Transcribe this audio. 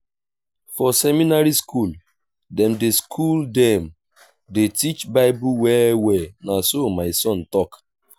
for seminary skool dem dey skool dem dey teach bible well-well na so my son tok.